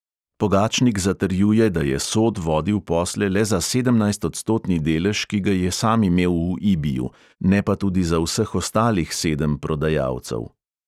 Pogačnik zatrjuje, da je sod vodil posle le za sedemnajstodstotni delež, ki ga je sam imel v ibiju, ne pa tudi za vseh ostalih sedem prodajalcev.